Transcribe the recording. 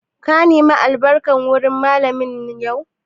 Ka nema albarka wurin Mallamin yau?